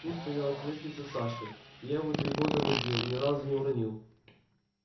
тут стояло креслице саши я его три года возил ни разу не уронил